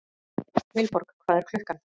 Vilborg, hvað er klukkan?